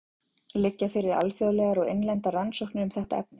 Liggja fyrir alþjóðlegar og innlendar rannsóknir um þetta efni?